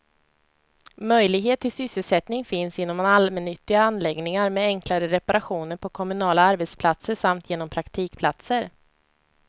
Möjlighet till sysselsättning finns inom allmännyttiga anläggningar, med enklare reparationer på kommunala arbetsplatser samt genom praktikplatser.